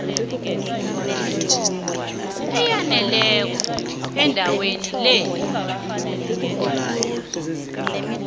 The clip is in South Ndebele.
eyaneleko endabeni le